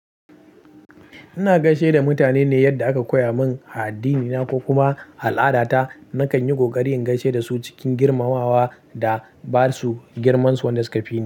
Ina gaishe da mutane ne yadda aka koya min a addinina ko kuma al'adata. Nakan yi ƙoƙari in gaishe da su cikin girmamawa da ba su girmansu wanda suka fi.